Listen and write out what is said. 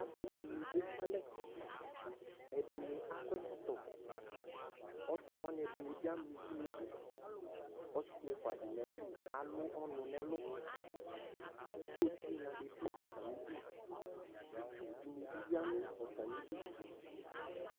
Asɩ dɩnɩ ekʋ alɛ, ɛdɩnɩ akɔ ɛkɔtɔ Asɩ wanɩ ɛdɩnɩ bɩ ama uvi nʋ ɩdʋ Ɔsɩ ɛfua dɩ nʋ ayili alʋ ɔnʋ nʋ ɛlʋ Ɩto tɩnya dɩ dʋ atamɩ ɩdʋ Itsu dɩnɩ bɩ ya nʋ atamɩ ɩdʋ